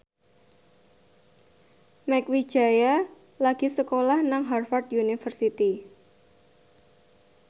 Mieke Wijaya lagi sekolah nang Harvard university